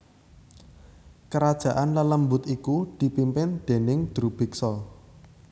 Kerajaan lelembut iku dipimpin déning Drubiksa